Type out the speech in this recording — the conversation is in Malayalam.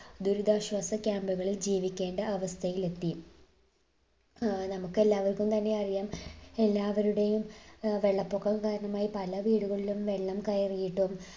ദുരിതാശ്വാസ camp കളിൽ ജിവിക്കേണ്ട അവസ്ഥയിലെത്തി ഏർ നമുക്കെല്ലാവർക്കും തന്നെ അറിയാം എല്ലാവരുടെയും ഏർ വെള്ളപ്പൊക്കം കാരണമായി പല വീടുകളിലും വെള്ളം കയറിയിട്ടും